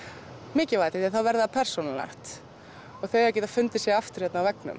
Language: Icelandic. mikilvægt því þá verður persónulegt og þau geta fundið sig aftur á veggnum